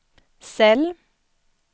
cell